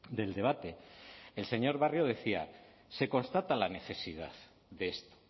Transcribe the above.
del debate el señor barrio decía se constata la necesidad de esto